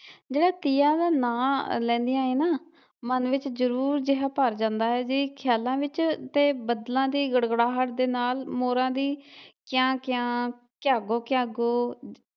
ਜਿਹੜੇ ਤੀਆਂ ਦਾ ਨਾ ਲੈਂਦੀਆਂ ਏ ਨੇ ਮਨ ਵਿਚ ਜਨੂਨ ਜਿਹਾ ਭਰ ਜਾਂਦਾ ਏ ਜੀ ਖਿਆਲਾ ਵਿੱਚ ਤੇ ਬਦਲਾ ਦੀ ਗੜਗੜਾਹਟ ਦੇ ਨਾਲ ਮੋਰਾ ਦੀ ਕਿਆਂ ਕਿਆਂ ਕਿਆਗੋ ਕਿਆਗੋ